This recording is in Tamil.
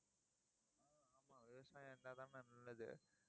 ஆமா, விவசாயம் இருந்தா தானே நல்லது